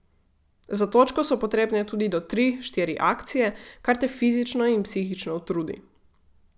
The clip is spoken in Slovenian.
Za točko so potrebne tudi do tri, štiri akcije, kar te fizično in psihično utrudi.